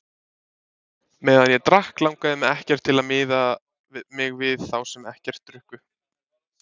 Meðan ég drakk langaði mig ekkert til að miða mig við þá sem ekkert drukku.